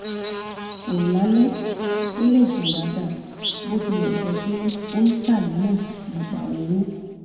kù lálẹ́ kó lè sùn dáadáa bó tilẹ̀ jẹ́ pé ó ń ṣàníyàn nípa owó